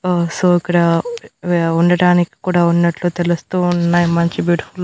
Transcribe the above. ఆ సో అక్కడ ఉండటానికి కూడా ఉన్నట్లు తెలుస్తూ వున్నాయ్ మంచి బ్యూటిఫుల్ --